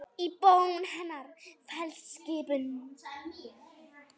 Í bón hennar felst skipun.